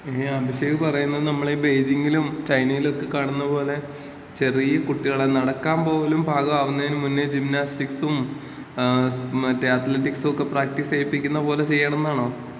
അഭിഷേക് പറയുന്നത് നമ്മൾ ഈ ബെയ്ജിങ്ങിലും ചൈനയിലുമൊക്കെ കാണുന്ന പോലെ ചെറിയ കുട്ടികളെ നടക്കാൻ പോലും പാകം ആകുന്നതിനു മുന്നേ ജിംനാസ്റ്റിക്സും, മറ്റേ അത്ലറ്റിക്സും ഒക്കെ പ്രാക്ടീസ് ചെയ്യിപ്പിക്കുന്ന പോലെ ചെയ്യണംന്നാണോ?